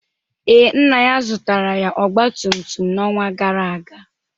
Ee, nna ya zụtara ya ọgba tum tum n'ọnwa gara aga.